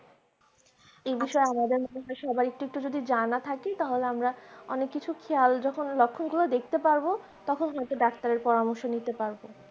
এই বিষয়ে আমাদের সবার একটু একটু জানা থাকে তাহলে আমরা অনেক কিছু খেয়াল যখন লক্ষণগুলো দেখতে পারবো তখন হয়তো ডাক্তারের পরামর্শ নিতে পারব